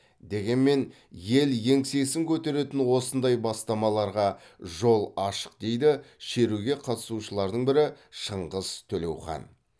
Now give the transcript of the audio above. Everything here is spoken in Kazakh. дегенмен ел еңсесін көтеретін осындай бастамаларға жол ашық дейді шеруге қатысушылардың бірі шыңғыс төлеухан